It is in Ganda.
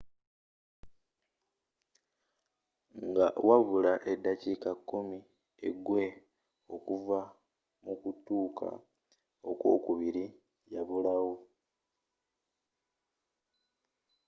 nga wabula eddakiika kkumi egwe okuva mu kutuuka ok'wokubiri yabulawo